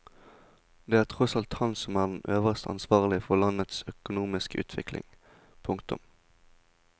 Det er tross alt han som er den øverst ansvarlige for landets økonomiske utvikling. punktum